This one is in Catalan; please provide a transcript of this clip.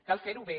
cal fer ho bé